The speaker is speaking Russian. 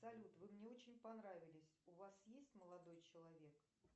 салют вы мне очень понравились у вас есть молодой человек